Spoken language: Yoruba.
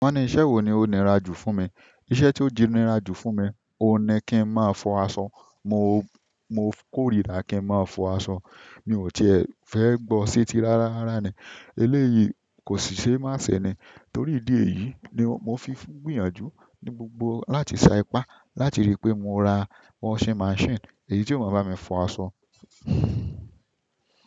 Won ni iṣẹ́ wo ni onira ju funmi? Iṣẹ́ tí ó jinira jù fún mi, òní kí n máa fọ aṣọ. Mo, mo kórìíra kí ń máa fọ aṣọ. Mi ò tíì fẹ́ gbọ́ se ti rárá ni. Eléyìí kò sì ṣe má ṣe ni. Torí ìdí èyí ni mo fi ń gbìyànjú ní gbogbo láti sa ipá láti rí pé mo ra washing machine. Èyí tí yóò máa bá mi fọ aṣọ.